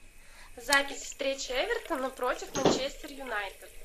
запись встречи эвертона против манчестер юнайтед